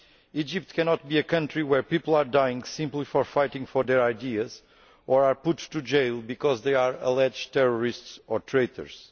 Egypt cannot be a country where people are dying simply for fighting for their ideas, or are put in jail because they are alleged to be terrorists or traitors.